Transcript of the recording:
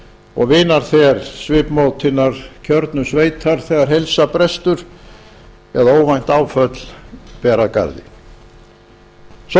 og vinarþel svipmót hinnar kjörnu sveitar þegar heilsa brestur eða óvænt áföll ber að